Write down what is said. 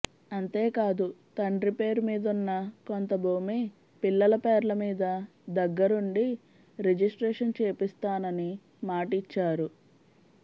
అంతేకాదు తండ్రి పేరు మీదున్న కొంత భూమి పిల్లల పేర్లమీద దగ్గరుండి రిజిస్ట్రేషన్ చేపిస్తానని మాటిచ్చారు